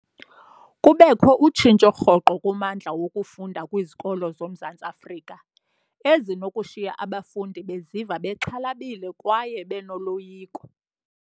Kubekho utshintsho rhoqo kummandla wokufunda kwizikolo zoMzantsi Afrika, ezinokushiya abafundi beziva bexhalabile kwaye benoloyiko.